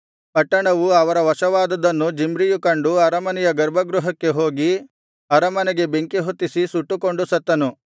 ಪಟ್ಟಣವು ಅವರ ವಶವಾದುದನ್ನು ಜಿಮ್ರಿಯು ಕಂಡು ಅರಮನೆಯ ಗರ್ಭಗೃಹಕ್ಕೆ ಹೋಗಿ ಅರಮನೆಗೆ ಬೆಂಕಿ ಹೊತ್ತಿಸಿ ಸುಟ್ಟುಕೊಂಡು ಸತ್ತನು